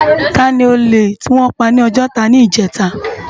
Táni ólé tiwòn pá ni Ojota nijètá?